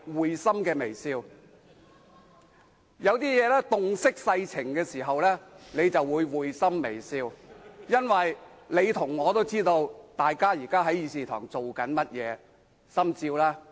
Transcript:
有時候，當你洞悉世情時便會會心微笑，因為你和我也知道大家現時在議事堂正做些甚麼，心照吧。